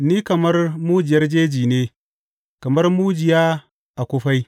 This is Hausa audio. Ni kamar mujiyar jeji ne, kamar mujiya a kufai.